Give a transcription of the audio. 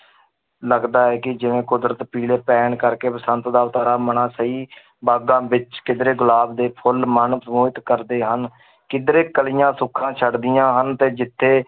ਲੱਗਦਾ ਹੈ ਕਿ ਜਿਵੇਂ ਕੁਦਰਤ ਪੀਲੇ ਪੈਣ ਕਰਕੇ ਬਸੰਤ ਦਾ ਸਹੀ ਬਾਗ਼ਾਂ ਵਿੱਚ ਕਿੱਧਰੇ ਗੁਲਾਬ ਦੇ ਫੁੱਲ ਮਨ ਮੋਹਿਤ ਕਰਦੇ ਹਨ, ਕਿੱਧਰੇ ਕਲੀਆਂ ਸੁੱਖਾਂ ਛੱਡਦੀਆਂ ਹਨ ਤੇ ਜਿੱਥੇ